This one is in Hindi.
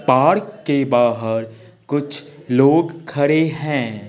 पार्क के बाहर कुछ लोग खड़े हैं।